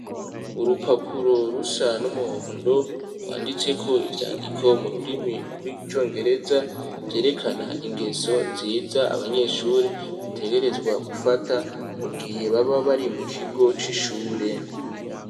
Urupapuro rusa n'umuhondo, rwanditseko ivyandiko mu rurimi rw'icongereza, vyerekana ingeso nziza abanyeshuri bategerezwa gufata, mu gihe baba bari mu kigo c'ishure.